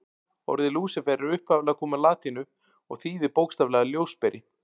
Orðið Lúsífer er upphaflega komið úr latínu og þýðir bókstaflega ljósberi.